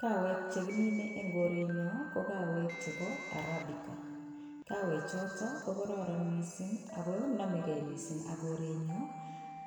Kawek chekimine en korenyon ko kawek chebo Arabica, kawechoton ko kororon mising ak ko nomekei mising ak korenyon